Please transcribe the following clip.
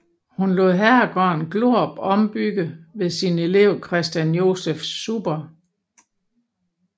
Han lod herregården Glorup ombygge ved sin elev Christian Joseph Zuber